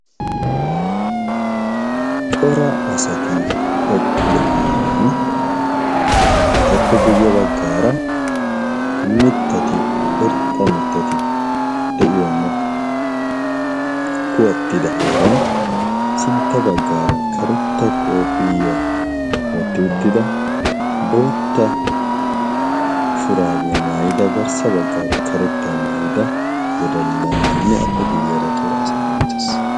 cora asati eqqido heeran etappe guyye baggaara mittati irxxa mittati de7iyoonne kuwattida heeran sintta baggaara karetta kopiyya ootti uttida bootta shuraabiyaa maayida garssa baggaara karetta maayida wodallanainne appe guyyeaara cora asati Uttaes